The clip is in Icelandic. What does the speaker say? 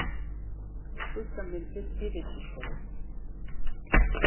Skuggamyndir í villiskógi.